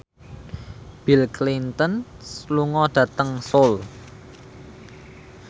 Bill Clinton lunga dhateng Seoul